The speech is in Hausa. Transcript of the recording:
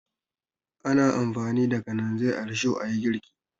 Ana amfani da kananzir a risho a yi girki.